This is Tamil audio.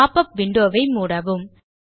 பாப் உப் விண்டோ வை மூடவும்